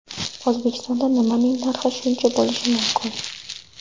O‘zbekistonda nimaning narxi shuncha bo‘lishi mumkin?